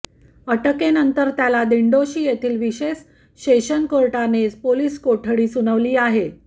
अटकेनंतर त्याला दिडोंशी येथील विशेष सेशन कोर्टाने पोलीस कोठडी सुनावली आहे